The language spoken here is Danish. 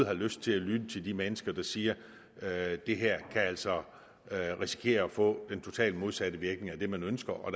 har lyst til at lytte til de mennesker der siger at det her altså kan risikere at få den totalt modsatte virkning af det man ønsker og